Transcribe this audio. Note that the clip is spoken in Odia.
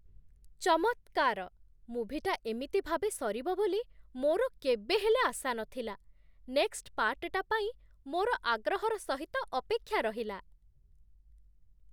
ଚମତ୍କାର! ମୁଭିଟା ଏମିତି ଭାବେ ସରିବ ବୋଲି ମୋର କେବେ ହେଲେ ଆଶା ନଥିଲା । ନେକ୍ସ୍‌ଟ୍ ପାର୍ଟ୍‌ଟା ପାଇଁ ମୋର ଆଗ୍ରହର ସହିତ ଅପେକ୍ଷା ରହିଲା ।